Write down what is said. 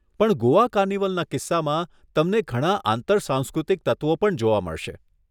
પણ ગોવા કાર્નિવલના કિસ્સામાં, તમને ઘણાં આંતર સાંસ્કૃતિક તત્વો પણ જોવા મળશે.